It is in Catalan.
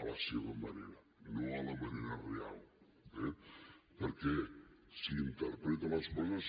a la seva manera no a la manera real eh perquè si interpreta les coses